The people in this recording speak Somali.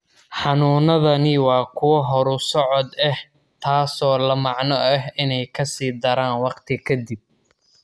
Xanuunadani waa kuwo horusocod ah, taasoo la macno ah inay ka sii daraan waqti ka dib.